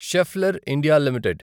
Schaeffler India limited